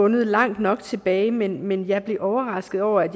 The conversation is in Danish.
langt nok tilbage men men jeg blev overrasket over at